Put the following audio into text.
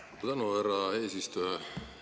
Suur tänu, härra eesistuja!